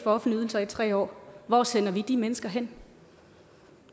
offentlige ydelser i tre år hvor sender vi de mennesker hen